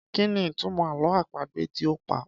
Kí ni ìtumọ̀ àlọ́ àpagbè tí o pa?